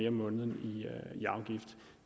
om måneden